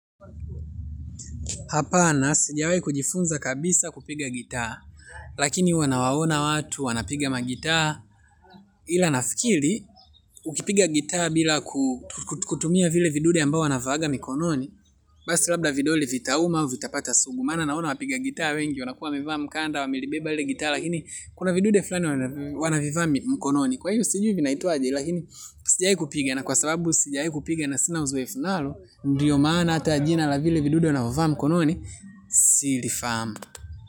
Hapana, sijawai kujifunza kabisa kupiga gitaa, lakini huwa nawaona watu, wanapiga magitaa, ila nafikiri, ukipiga gitaa bila ku kutumia vile vidude ambao wanavaaga mikononi, basi labda vidole vitauma, vitapata sugu, maana naona wapiga gitaa wengi, wanakuwa wamevaa mkanda, wamilibeba lile gitaa, lakini kuna vidude fulani wanavivaa mkononi. Kwa hiyo sijui vinaitwaje lakini sijawai kupiga na kwa sababu sijai kupiga na sina uzoefu nalo ndiyo maana ata jina la vile vidude wanavovaa mkononi silifahamu.